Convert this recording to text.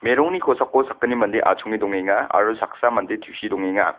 merongni kosako sakgni mande achonge dongenga aro saksa mande tusie dongenga.